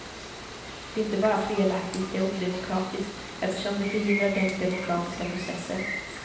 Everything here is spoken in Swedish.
Det är inte bara felaktigt, det är odemokratiskt eftersom det förhindrar den demokratiska processen.